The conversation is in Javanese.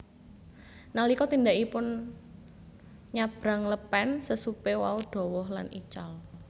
Nalika tindakipun nyabrang lepen sesupe wau dhawah lan ical